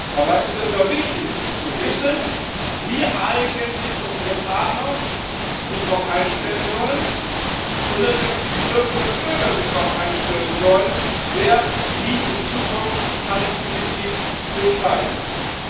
Dabei ist es doch wichtig zu wissen, wie sich eigentlich unsere Partner darauf einstellen sollen und natürlich wie die Bürgerinnen und Bürger sich darauf einstellen sollen, wer wie in Zukunft Handelspolitik zu entscheiden hat.